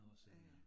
Ja ja